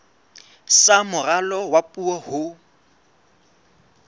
sa moralo wa puo ho